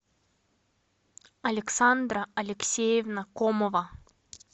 александра алексеевна комова